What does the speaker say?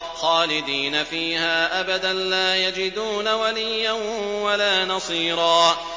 خَالِدِينَ فِيهَا أَبَدًا ۖ لَّا يَجِدُونَ وَلِيًّا وَلَا نَصِيرًا